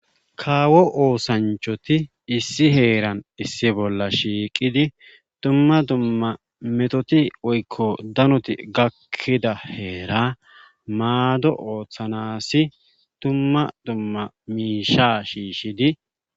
Kaawo oosanchoti issi heeran issi bolla shiiqidi tumma dumma metoti oykko danoti gakkida heera maado ooththanasi tumma dumma miisha shiishshidi.